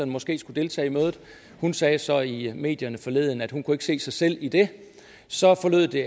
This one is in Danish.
måske skulle deltage i mødet hun sagde så i medierne forleden at hun ikke kunne se sig selv i det så forlød det